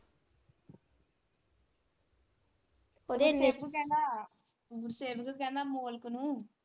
ਸੇਵਕ ਕਹਿੰਦਾ ਅਮੋਲਕ ਨੂੰ।